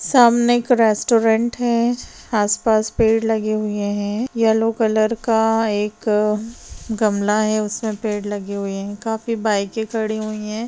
सामने एक रेस्टोरेंट है आसपास पेड़ लगे हुए हैं येल्लो कलर का एक गमला है उसमे पेड़ लगे हुए हैं काफी बाइके खड़ी हैं।